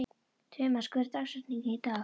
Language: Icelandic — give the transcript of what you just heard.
Tumas, hver er dagsetningin í dag?